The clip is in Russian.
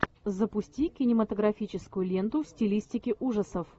запусти кинематографическую ленту в стилистике ужасов